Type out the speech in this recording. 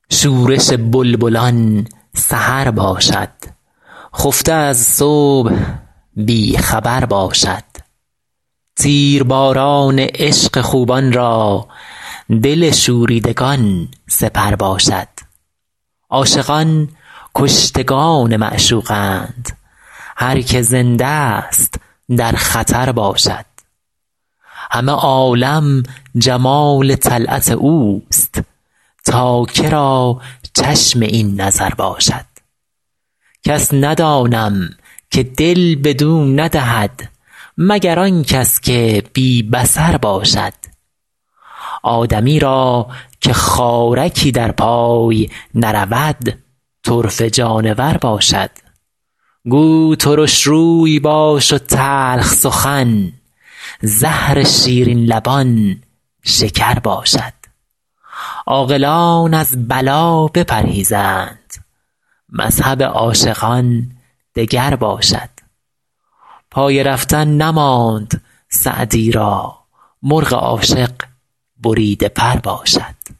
شورش بلبلان سحر باشد خفته از صبح بی خبر باشد تیرباران عشق خوبان را دل شوریدگان سپر باشد عاشقان کشتگان معشوقند هر که زنده ست در خطر باشد همه عالم جمال طلعت اوست تا که را چشم این نظر باشد کس ندانم که دل بدو ندهد مگر آن کس که بی بصر باشد آدمی را که خارکی در پای نرود طرفه جانور باشد گو ترش روی باش و تلخ سخن زهر شیرین لبان شکر باشد عاقلان از بلا بپرهیزند مذهب عاشقان دگر باشد پای رفتن نماند سعدی را مرغ عاشق بریده پر باشد